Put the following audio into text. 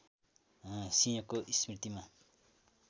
सिंहको स्मृतिमा